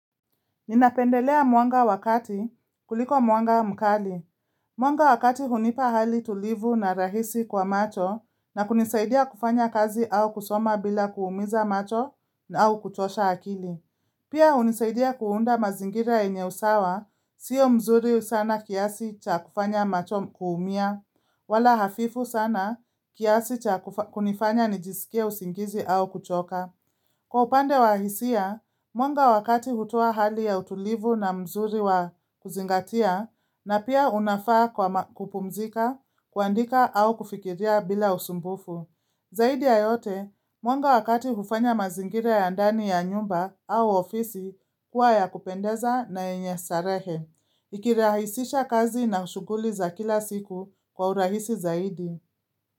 Ninapendelea mwanga wa kati kuliko mwanga mkali. Mwanga wa kati hunipa hali tulivu na rahisi kwa macho na kunisaidia kufanya kazi au kusoma bila kuumiza macho na au kuchosha akili. Pia hunisaidia kuunda mazingira yenye usawa, sio mzuri sana kiasi cha kufanya macho kuumia, wala hafifu sana kiasi cha kunifanya nijisikie usingizi au kuchoka. Kwa upande wa hisia, mwanga wa kati hutoa hali ya utulivu na mzuri wa kuzingatia na pia unafaa kwa kupumzika, kuandika au kufikiria bila usumbufu. Zaidi ya yote, mwanga wa kati hufanya mazingira ya ndani ya nyumba au ofisi kuwa ya kupendeza na yenye starehe. Ikirahisisha kazi na shughuli za kila siku kwa urahisi zaidi.